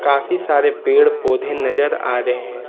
काफी सारे पेड़ पौधे नजर आ रहे हैं।